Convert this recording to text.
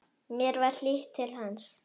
Mér var hlýtt til hans.